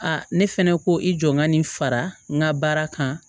ne fɛnɛ ko i jɔ n ka nin fara n ka baara kan